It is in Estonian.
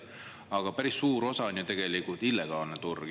Aga päris suur osa on ju tegelikult illegaalne turg.